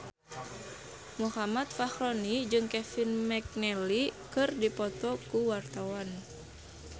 Muhammad Fachroni jeung Kevin McNally keur dipoto ku wartawan